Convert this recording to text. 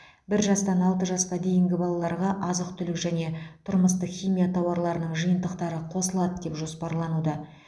бір жастан алты жасқа дейінгі балаларға азық түлік және тұрмыстық химия тауарларының жиынтықтары қосылады деп жоспарлануда